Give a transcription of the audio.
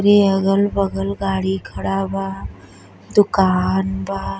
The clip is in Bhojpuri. अगल बगल गाड़ी खड़ा बा। दुकान बा।